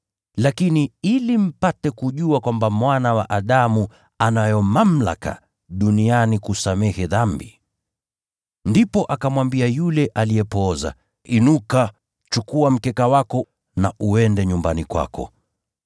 Lakini, ili mpate kujua kwamba Mwana wa Adamu anayo mamlaka duniani kusamehe dhambi…” Ndipo akamwambia yule aliyepooza, “Inuka, chukua mkeka wako, uende nyumbani kwako.”